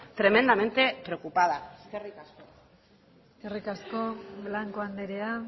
tremendamente preocupada eskerrik asko eskerrik asko blanco andrea